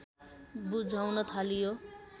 बुझाउन थालियो